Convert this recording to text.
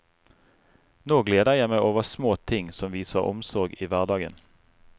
Nå gleder jeg meg over små ting som viser omsorg i hverdagen.